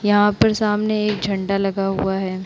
यहाँ पर सामने एक झंडा लगा हुआ है।